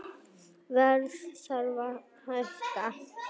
Verð þarf að hækka